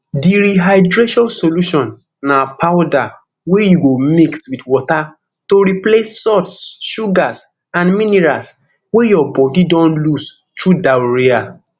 di rehydration solution na powder wey you go mix wit water to replace salts sugars and minerals wey your bodi don lose through diarrhoea